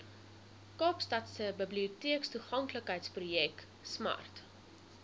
kaapstadse biblioteektoeganklikheidsprojek smart